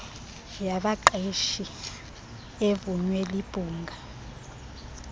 yabaqeshi evunywe libhubga